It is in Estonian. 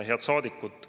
Head saadikud!